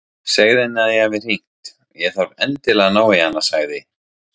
Segðu henni að ég hafi hringt, ég þarf endilega að ná í hana sagði